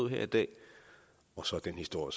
her i dag og så er den historie